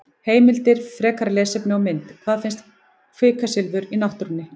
Heimildir, frekara lesefni og mynd: Hvar finnst kvikasilfur í náttúrunni?